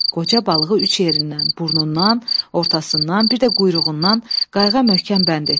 Qoca balığı üç yerindən, burnundan, ortasından, bir də quyruğundan qayığa möhkəm bənd etdi.